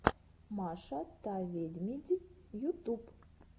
маша та ведмидь ютуб